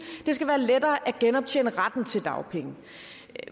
det skal være lettere at genoptjene retten til dagpenge